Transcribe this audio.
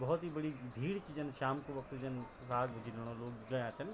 भौत ही बडी भीड च जन श्याम कु वक्त जन साग-भुज्जी ल्यूणु लोग गया छन।